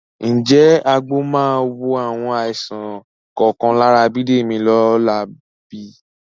Ǹjẹ́ àgbo máa wo àwọn àìsàn kọ̀ọ̀kan lára Bídèmí lọ́la bí?